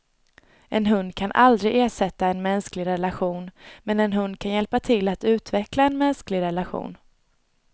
En hund kan aldrig ersätta en mänsklig relation, men en hund kan hjälpa till att utveckla en mänsklig relation.